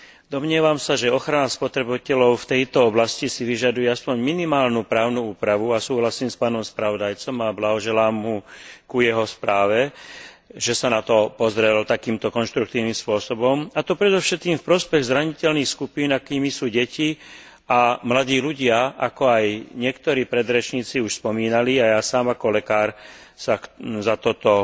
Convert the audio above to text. Domnievam sa, že ochrana spotrebiteľov v tejto oblasti si vyžaduje aspoň minimálnu právnu úpravu, a súhlasím s pánom spravodajcom a blahoželám mu k jeho správe, že sa na to pozrel takýmto konštruktívnym spôsobom, a to predovšetkým v prospech zraniteľných skupín, akými sú deti a mladí ľudia, ako aj niektorí predrečníci už spomínali, a ja sám ako lekár sa za toto